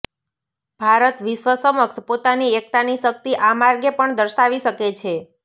ભારત વિશ્વ સમક્ષ પોતાની એકતાની શકિત આ માર્ગે પણ દર્શાવી શકે છે